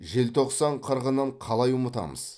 желтоқсан қырғынын қалай ұмытамыз